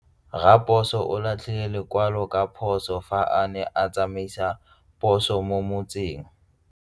Raposo o latlhie lekwalô ka phosô fa a ne a tsamaisa poso mo motseng.